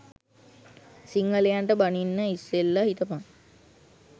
සිංහලයන්ට බනින්න ඉස්සෙල්ල හිතපන්